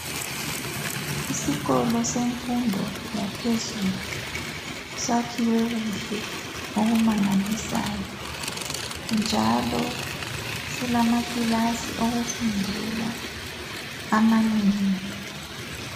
Isikolo semfundo yaphezulu, sakhiwe kuhle okumangalisayo, njalo silamakilasa okufundela amanengi.